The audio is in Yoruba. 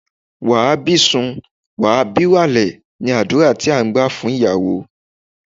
Wà á bí ìsun, wà á bí ìwàlè! ni àdúrà tí à ń gbà fún ìyàwó.